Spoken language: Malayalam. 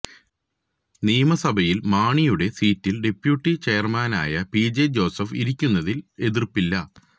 നിയമസഭയില് മാണിയുടെ സീറ്റില് ഡപ്യൂട്ടി ചെയര്മാനായ പി ജെ ജോസഫ് ഇരിക്കുന്നതില് എതിര്പ്പില്ല